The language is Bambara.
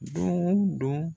Don o don